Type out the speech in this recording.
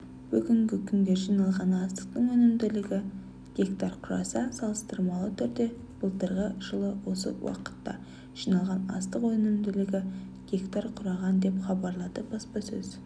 бүгінгі күнге жиналған астықтың өнімділігі га құраса салыстырмалы түрде былтырғы жылы осы уақытта жиналған астық өнімділігі га құраған деп хабарлады баспасөз